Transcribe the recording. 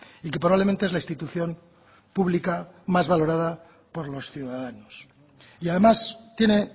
y que probablemente es la institución pública más valorada por los ciudadanos y además tiene